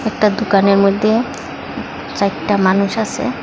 একটা দোকানের মধ্যে চারটা মানুষ আসে।